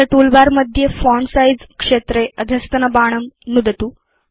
अथ टूलबार मध्ये font size क्षेत्रे अधस्तनबाणं नुदतु